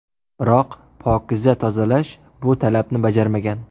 Biroq ‘Pokiza Tozalash’ bu talabni bajarmagan.